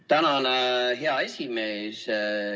Tänan, hea esimees!